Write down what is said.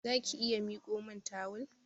Zaki iya mikomin tawul?